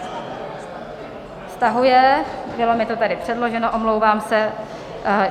Stahuje, bylo mi to tady předloženo, omlouvám se.